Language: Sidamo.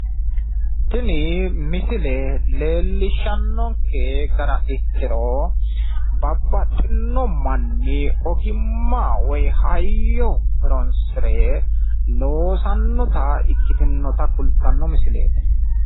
tini misile leellishshanonke gara ikkiro babaxinno manni ogimma woyi hayyo horonsire loosannota ikkitinnota kultanno misileeti.